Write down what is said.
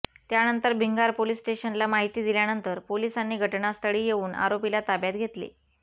त्यानंतर भिंगार पोलिस स्टेशनला माहिती दिल्यानंतर पोलिसांनी घटनास्थळी येऊन आरोपीला ताब्यात घेतले